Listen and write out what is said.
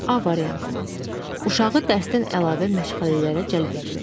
A variantı, uşağı dərsdən əlavə məşğələlərə cəlb etmək.